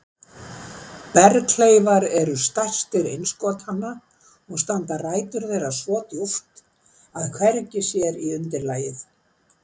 Berghleifar eru stærstir innskotanna og standa rætur þeirra svo djúpt að hvergi sér á undirlagið.